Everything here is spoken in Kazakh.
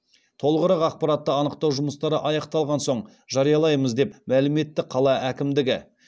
толығырақ ақпаратты анықтау жұмыстары аяқталған соң жариялаймыз деп мәлім етті қала әкімдігі